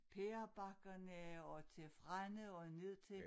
Pærebakkerne og til Frenne og ned til